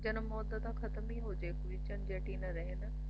ਜਨਮ ਮੌਤ ਦਾ ਤਾਂ ਖਤਮ ਹੀ ਹੋਜੇ solution ਜਟੀ ਨਾ ਰਹੇ ਨਾ